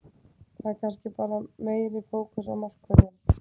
Það er kannski bara meiri fókus á markvörðinn.